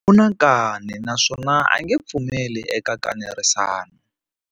U na nkani naswona a nge pfumeli eka nkanerisano.